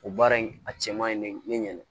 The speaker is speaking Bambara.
O baara in a cɛ man ɲi ne ɲɛn